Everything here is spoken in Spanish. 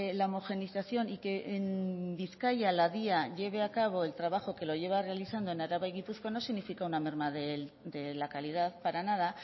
la homogenización y que en bizkaia la dya lleve a cabo el trabajo que lo lleva realizando en araba y en gipuzkoa no significa una merma de la calidad para nada